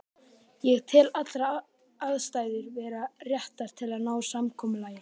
Ég tel allar aðstæður vera réttar til að ná samkomulagi.